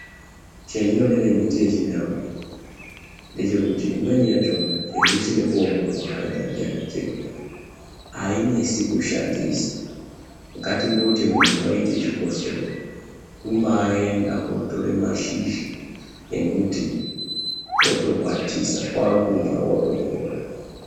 Chendinodire miti yechindau iyi ndechekuti imweni yachona chero isina kuongororwa hayo ndiana chiremba ainesi kushandisa ngatimboti munhu waite chikosoro kumbaenda wotora mashizha embuti wotokwatisa kwakumwa wotopora.